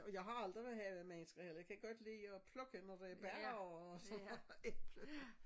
Og jeg har aldrig været havemenneske eller jeg kan godt lide at plukke når der er bær og sådan noget æble